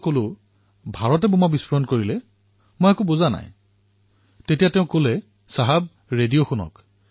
মই কলো ভাৰতে বোমা ফুটুৱালে মই একো বুজা নাই তেতিয়া তেওঁ কলে চাহাব ৰেডিঅ শুনক